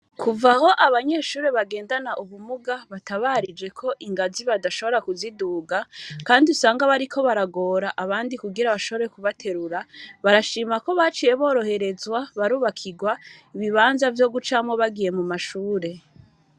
Kuva aho abanyeshure bagendana ubumuga, batabarije ko ingazi badashobora kuziduga, kandi usanga bariko baragora abandi kugira bashobore kubaterura, barashima ko baciye boroherezwa, barubakirwa ibibanza vyo gucamwo bagiye mu mashure.